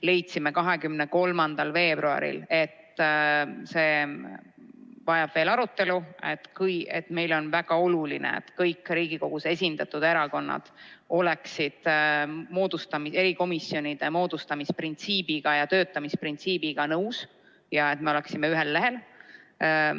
Leidsime 23. veebruaril, et see eelnõu vajab veel arutelu, sest meile on väga oluline, et kõik Riigikogus esindatud erakonnad oleksid erikomisjonide moodustamise printsiibiga ja töötamisprintsiibiga nõus, et me oleksime n-ö ühel lehel.